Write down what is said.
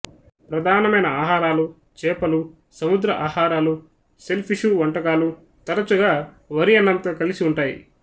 ప్రధానమైన ఆహారాలు చేపలు సముద్ర ఆహారాలు షెల్ ఫిషు వంటకాలు తరచుగా వరి అన్నంతో కలిసి ఉంటాయి